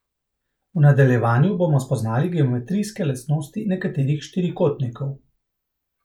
V nadaljevanju bomo spoznali geometrijske lastnosti nekaterih štirikotnikov.